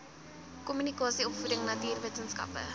kommunikasie opvoeding natuurwetenskappe